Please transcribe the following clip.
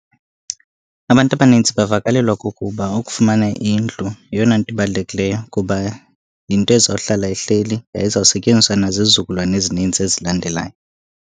Abantu abanintsi bavakalelwa kukuba ukufumana indlu yeyona nto ibalulekileyo kuba yinto ezawuhlala ihleli, yaye izawusetyenziswa nazizizukulwana ezininzi ezilandelayo.